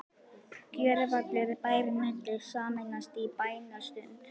Gjörvallur bærinn mundi sameinast í bænastund.